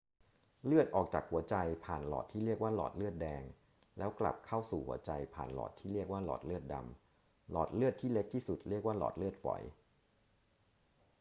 เลือดออกจากหัวใจผ่านหลอดที่เรียกว่าหลอดเลือดแดง แล้วกลับเข้าสู่หัวใจผ่านหลอดที่เรียกว่าหลอดเลือดดำ หลอดเลือดที่เล็กที่สุดเรียกว่าหลอดเลือดฝอย